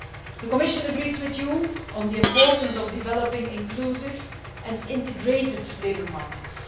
The Commission agrees with you on the importance of developing inclusive and integrated labour markets.